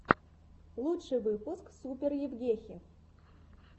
лучший выпуск супер евгехи